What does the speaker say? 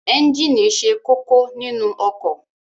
Ẹ́ńjíìnì ṣe kókó nínu ọkọ̀.